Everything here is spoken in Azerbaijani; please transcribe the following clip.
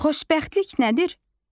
Xoşbəxtlik nədir?